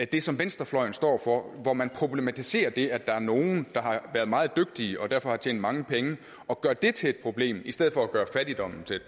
det som venstrefløjen står for hvor man problematiserer det at der er nogle der har været meget dygtige og derfor har tjent mange penge og gør det til problem i stedet for at gøre fattigdommen til